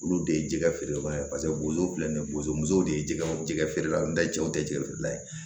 Olu de ye jɛgɛ feerela ye paseke bozow filɛ nin ye bozo musow de ye jɛgɛw jɛgɛ feere la n tɛ jɛw tɛ jɛgɛ feerela ye